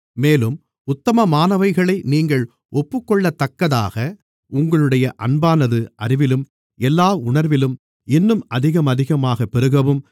மேலும் உத்தமமானவைகளை நீங்கள் ஒப்புக்கொள்ளத்தக்கதாக உங்களுடைய அன்பானது அறிவிலும் எல்லா உணர்விலும் இன்னும் அதிகமதிகமாகப் பெருகவும்